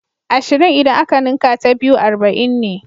Ashirin idan aka ninka ta biyu arba'in ne.